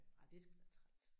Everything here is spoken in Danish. Ej det er sgu da træls